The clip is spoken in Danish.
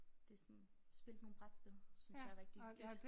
Det sådan spillet nogle brætspil synes jeg er rigtig hyggeligt